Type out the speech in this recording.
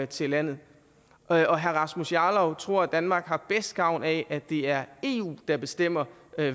til landet og herre herre rasmus jarlov tror at danmark har bedst gavn af at det er eu der bestemmer